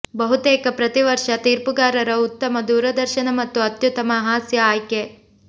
ಬಹುತೇಕ ಪ್ರತಿ ವರ್ಷ ತೀರ್ಪುಗಾರರ ಉತ್ತಮ ದೂರದರ್ಶನ ಮತ್ತು ಅತ್ಯುತ್ತಮ ಹಾಸ್ಯ ಆಯ್ಕೆ